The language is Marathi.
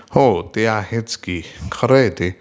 हो ते आहेच की...खरं आहे ते